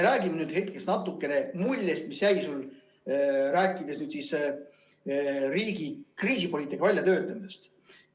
Räägime nüüd hetkeks natukene muljest, mis jäi sulle rääkides riigi kriisipoliitika väljatöötamisest.